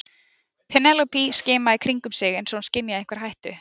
Penélope skimaði í kringum sig eins og hún skynjaði einhverja hættu.